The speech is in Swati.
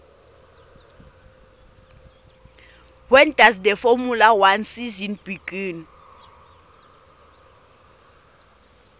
when does the formula one season begin